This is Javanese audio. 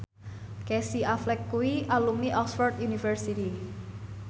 Casey Affleck kuwi alumni Oxford university